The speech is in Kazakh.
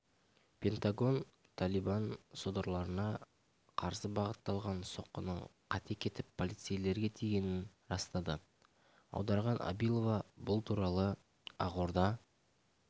пентагон талибан содырларына қарсы бағытталған соққының қате кетіп полицейлерге тигенін растады аударған абилова бұл туралы ақорда